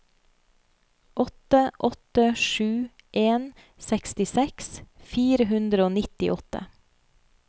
åtte åtte sju en sekstiseks fire hundre og nittiåtte